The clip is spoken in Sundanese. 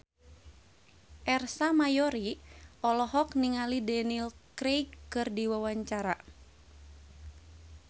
Ersa Mayori olohok ningali Daniel Craig keur diwawancara